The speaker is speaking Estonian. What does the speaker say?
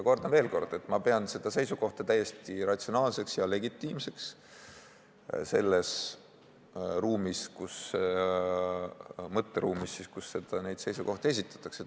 Kordan veel kord, et ma pean seda seisukohta täiesti ratsionaalseks ja legitiimseks selles mõtteruumis, kus neid seisukohti esitatakse.